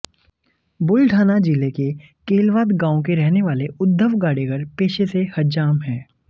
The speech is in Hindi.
बुलढाना जिले के केलवाद गांव के रहने वाले उद्धव गाडेकर पेशे से हज्जाम हैं